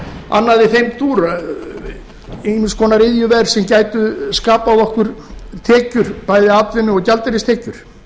annað í þeim dúr ýmiss konar iðjuver sem gætu skapað okkur tekjur bæði atvinnu og gjaldeyristekjur